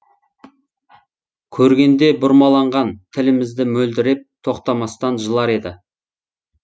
көргенде бұрмаланған тілімізді мөлдіреп тоқтамастан жылар еді